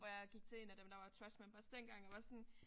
Hvor jeg gik til én af dem der var trust members dengang og var sådan